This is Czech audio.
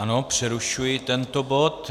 Ano, přerušuji tento bod.